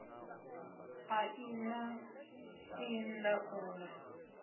a i na ii ndaula